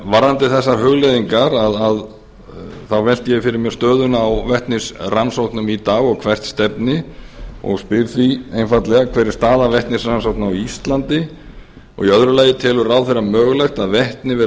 varðandi þessar hugleiðingar velti ég fyrir mér stöðunni á vetnisrannsóknum í dag og hvert stefni og spyr því einfaldlega fyrstu hver er staða vetnisrannsókna á íslandi annars telur ráðherra mögulegt að vetni verði